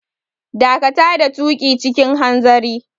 Dakata da tuƙi cikin hanzari!